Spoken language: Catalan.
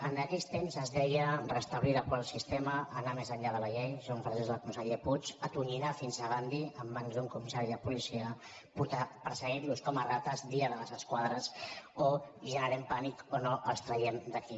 en aquells temps es deia restablir l’actual sistema anar més enllà de la llei són frases del conseller puig atonyinar fins gandhi en mans d’un comissari de policia perseguir los com a rates dia de les esquadres o generem pànic o no els traiem d’aquí